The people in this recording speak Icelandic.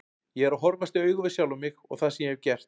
Ég er að horfast í augu við sjálfan mig og það sem ég hef gert.